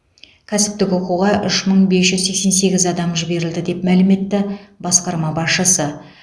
кәсіптік оқуға үш мың бес жүз сексен сегіз адам жіберілді деп мәлім етті басқарма басшысы